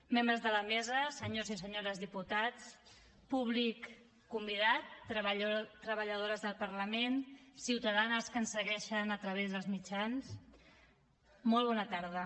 membres de la mesa senyors i senyores diputats públic convidat treballadores del parlament ciutadanes que ens segueixen a través dels mitjans molt bona tarda